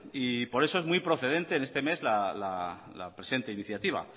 y por eso muy procedente en este mes la presente iniciativa